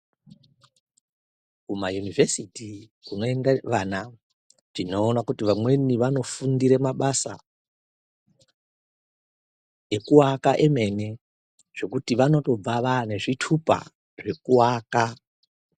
Kuma yunivhesiti kuno enda vana tino ona kuti vamweni vano fundire mabasa eku waka emene zvekuti vano tobva vane zvitupa zveku aka.